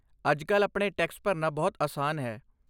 ਅੱਜ ਕੱਲ੍ਹ ਆਪਣੇ ਟੈਕਸ ਭਰਨਾ ਬਹੁਤ ਆਸਾਨ ਹੈ।